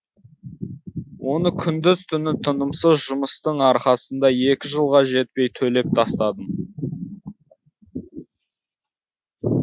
оны күндіз түні тынымсыз жұмыстың арқасында екі жылға жетпей төлеп тастадым